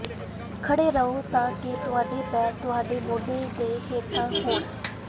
ਖੜ੍ਹੇ ਰਹੋ ਤਾਂ ਕਿ ਤੁਹਾਡੇ ਪੈਰ ਤੁਹਾਡੇ ਮੋਢੇ ਦੇ ਹੇਠਾਂ ਹੋਣ